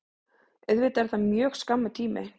Auðvitað er það mjög skammur tími